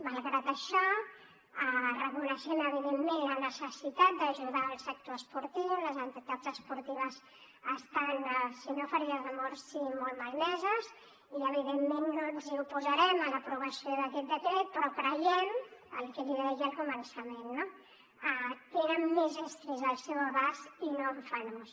malgrat això reconeixem evidentment la necessitat d’ajudar el sector esportiu les entitats esportives estan sinó ferides de mort sí molt malmeses i evidentment no ens oposarem a l’aprovació d’aquest decret però creiem que el que li deia al començament no tenen més estris al seu abast i no en fan ús